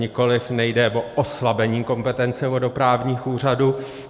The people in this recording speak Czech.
Nikoliv, nejde o oslabení kompetence vodoprávních úřadů.